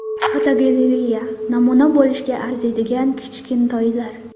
Fotogalereya: Namuna bo‘lishga arziydigan kichkintoylar.